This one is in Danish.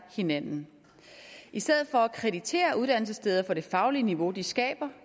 hinanden i stedet for at kreditere uddannelsessteder for det faglige niveau de skaber